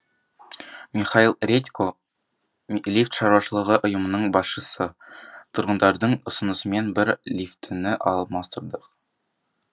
михаил редько лифт шаруашылығы ұйымының басшысы тұрғындардың ұсынысымен бір лифтіні алмастырдық